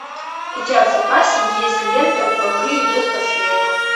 у тебя в запасе есть лента бобры идут по следу